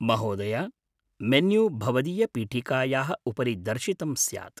महोदय! मेन्यू भवदीयपीठिकायाः उपरि दर्शितं स्यात्।